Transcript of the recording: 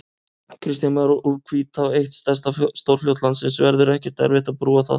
Kristján Már: Úr Hvítá, eitt stærsta stórfljót landsins, verður ekkert erfitt að brúa það?